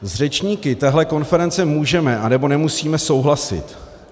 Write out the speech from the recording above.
S řečníky téhle konference můžeme, anebo nemusíme souhlasit.